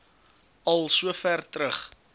al sover terug